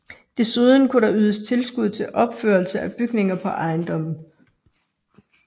Desuden kunne der ydes tilskud til opførelse af bygninger på ejendommen